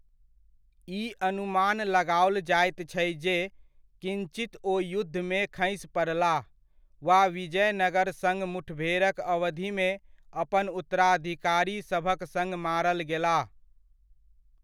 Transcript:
ई अनुमान लगाओल जाइत छै जे किञ्चित ओ युद्धमे खसि पड़लाह वा विजयनगर सङ्ग मुठभेड़क अवधिमे अपन उत्तराधिकारीसभक सङ्ग मारल गेलाह।